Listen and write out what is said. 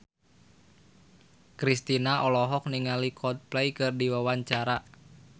Kristina olohok ningali Coldplay keur diwawancara